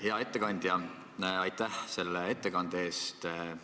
Hea ettekandja, aitäh selle ettekande eest!